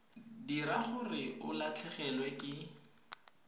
dira gore o latlhegelwe ke